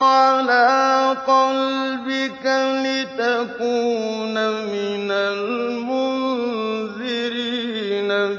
عَلَىٰ قَلْبِكَ لِتَكُونَ مِنَ الْمُنذِرِينَ